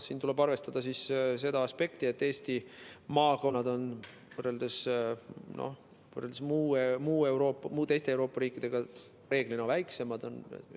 Siin tuleb arvestada seda aspekti, et Eesti maakonnad on võrreldes muu Euroopaga, teiste Euroopa riikidega reeglina väiksemad.